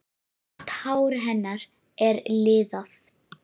Grátt hár hennar er liðað.